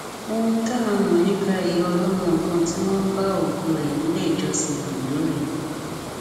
ohun tá a mọ nípa ìyá ọlọmọ kan tí wọn bá òkú rẹ nílé ìjọsìn ondo rèé